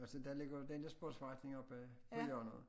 Altså der ligger jo den der sportsforretning oppe på hjørnet